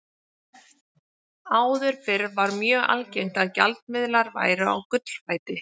Áður fyrr var mjög algengt að gjaldmiðlar væru á gullfæti.